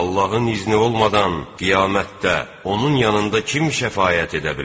Allahın izni olmadan qiyamətdə onun yanında kim şəfaət edə bilər?